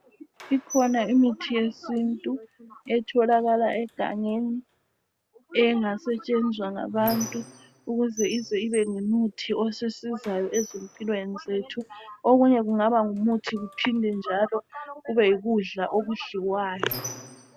Ikhona imuthi yesintu etholakala egangeni. Engasetshenzwa ngabantu, ukuze ize ibe ngumuthi osisizayo ezimpilweni zethu. Okunye kungaba ngumuthi. Kuphinde njalo kube yikudla okudliwayo.